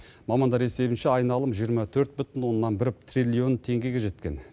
мамандар есебінше айналым жиырма төрт бүтін оннан бір триллион теңгеге жеткен